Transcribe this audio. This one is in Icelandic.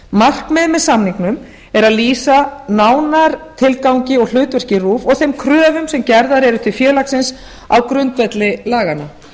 markmiðið með samningnum er að lýsa nánar tilgangi og hlutverki rúv og þeim kröfum sem gerðar eru til félagsins á grundvelli laganna